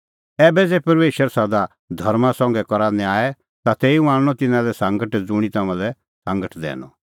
ऐबै ज़ै परमेशर सदा धर्मां संघै करा न्याय ता तेऊ आणनअ तिन्नां लै सांगट ज़ुंणी तम्हां लै सांगट दैनअ